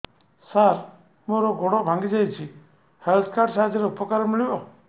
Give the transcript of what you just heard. ସାର ମୋର ଗୋଡ଼ ଭାଙ୍ଗି ଯାଇଛି ହେଲ୍ଥ କାର୍ଡ ସାହାଯ୍ୟରେ ଉପକାର ମିଳିବ